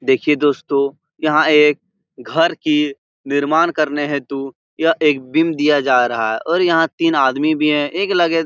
देखिए दोस्तों यहाँ एक घर की निर्माण करने हेतू यह एक बीम दिया जा रहा और यहाँ तीन आदमी भी हैं एक लगे --